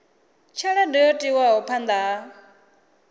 tshelede yo tiwaho phanda ha